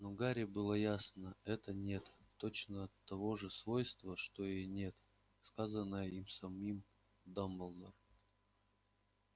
но гарри было ясно это нет точно того же свойства что и нет сказанное им самим дамблдору